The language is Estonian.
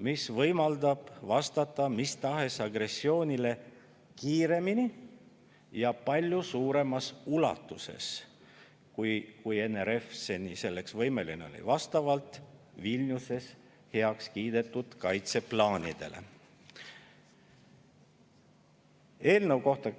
mis võimaldab vastata mis tahes agressioonile kiiremini ja palju suuremas ulatuses, kui NRF seni võimeline oli, vastavalt Vilniuses heaks kiidetud kaitseplaanidele.